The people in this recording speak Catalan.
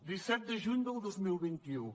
disset de juny del dos mil vint u